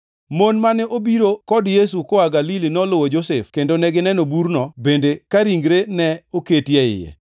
Mon mane obiro kod Yesu koa Galili noluwo Josef kendo negineno burno bende ka ringre ne oketi e iye.